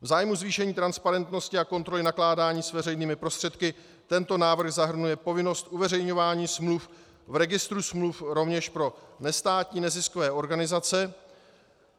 V zájmu zvýšení transparentnosti a kontroly nakládání s veřejnými prostředky tento návrh zahrnuje povinnost uveřejňování smluv v registru smluv rovněž pro nestátní neziskové organizace.